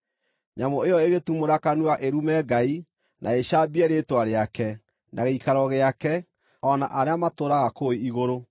Nyamũ ĩyo ĩgĩtumũra kanua ĩrume Ngai, na ĩcambie rĩĩtwa rĩake, na gĩikaro gĩake, o na arĩa matũũraga kũu igũrũ.